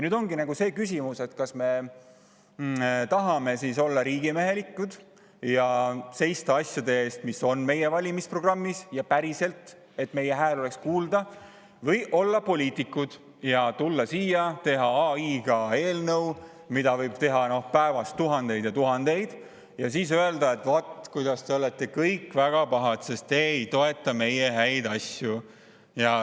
Nüüd ongi see küsimus, kas me tahame olla riigimehelikud ja seista asjade eest, mis on meie valimisprogrammis, ja päriselt, nii et meie hääl oleks kuulda, või tahame olla poliitikud, tulla siia, teha AI abil sellise eelnõu, millesarnaseid võib päevas teha tuhandeid ja tuhandeid, ja siis öelda, et vaat, te olete kõik väga pahad, sest te ei toeta meie häid asju.